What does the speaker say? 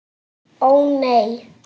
Ó, nei.